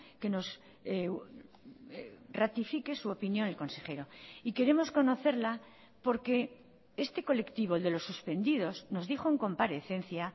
que nos ratifique su opinión el consejero y queremos conocerla porque este colectivo el de los suspendidos nos dijo en comparecencia